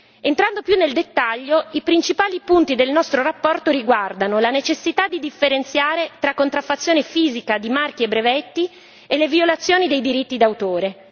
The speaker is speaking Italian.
Entrando più nel dettaglio, i principali punti della nostra relazione riguardano la necessità di differenziare tra contraffazione fisica di marchi e brevetti e le violazioni dei diritti d'autore